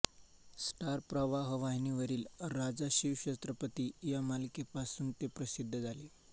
star Pravah वाहिनीवरील राजा शिव छत्रपती या मालिकेपासून ते प्रसिद्ध झाले